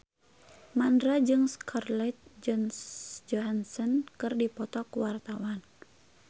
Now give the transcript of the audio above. Mandra jeung Scarlett Johansson keur dipoto ku wartawan